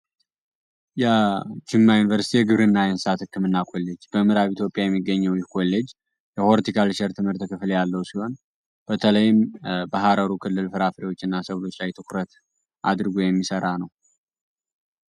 የጅማ ዩኒቨርሲቲ የግብር እና የንስሳት ህክምእና ኮሌጅ በምራብ ኢትዮጵያ የሚገኘው ይህ ኮሌጅ የሆርቲካል ሸር ትምህርት ክፍል ያለው ሲሆን በተለይም ባሃረሩ ክልል ፍራፍሪዎች እና ሰብሎች ላይ ትኩረት አድርጎ የሚሠራ ነው።